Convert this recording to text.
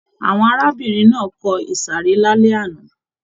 Àwọn arábìnrin náà kọ ìsàrẹ́ lálẹ́ àná.